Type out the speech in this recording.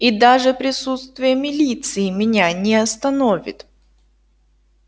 и даже присутствие милиции меня не остановит